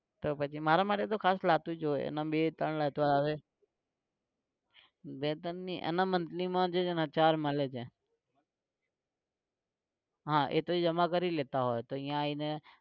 તો પછી મારા માટે તો ખાસ લાવતું જ હોય. બે ત્રણ લેતો આવે. બે ત્રણ નઇ એના monthly માં ચાર મળે છે. હા એ તો ઇ જમા કરી લેતા હોય